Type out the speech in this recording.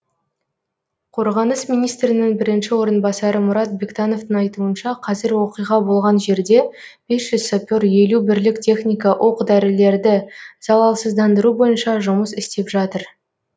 қорғаныс министрінің бірінші орынбасары мұрат бектановтың айтуынша қазір оқиға болған жерде бес жүз сапер елу бірлік техника оқ дәрілерді залалсыздандыру бойынша жұмыс істеп жатыр